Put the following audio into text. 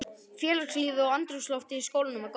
Félagslífið og andrúmsloftið í skólanum var gott.